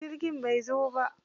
Jirgin bai zo ba.